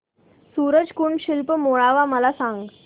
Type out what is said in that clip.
सूरज कुंड शिल्प मेळावा मला सांग